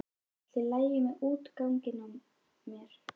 Er allt í lagi með útganginn á mér?